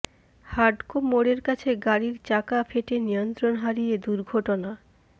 হাডকো মোড়ের কাছে গাড়ির চাকা ফেটে নিয়ন্ত্রণ হারিয়ে দুর্ঘটনা